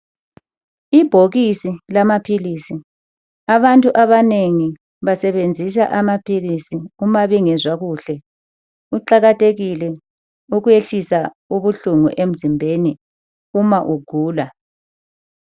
Ibhokisi lamaphilisi, abantu abanengi basebenzisa amaphilisi uma bengezwa kuhle kuqakathekile ukwehlisa ubuhlungu emzimbeni uma ugula .